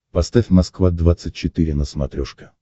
поставь москва двадцать четыре на смотрешке